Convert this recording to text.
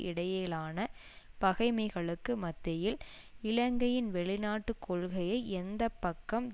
இடையிலான பகைமைகளுக்கு மத்தியில் இலங்கையின் வெளிநாட்டு கொள்கையை எந்த பக்கம்